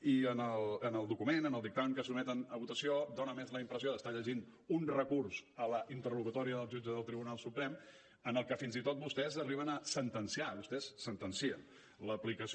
i en el document en el dictamen que sotmeten a votació fa més la impressió d’estar llegint un recurs a la interlocutòria del jutge del tribunal suprem en el que fins i tot vostès arriben a sentenciar vostès sentencien l’aplicació